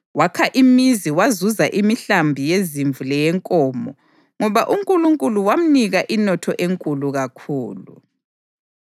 Wakha imizi wazuza imihlambi yezimvu leyenkomo, ngoba uNkulunkulu wamnika inotho enkulu kakhulu.